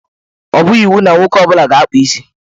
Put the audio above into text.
Ọ bụghị iwu na nwoke ọ bụla ga na-akpụ isi.